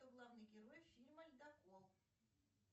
кто главный герой фильма ледокол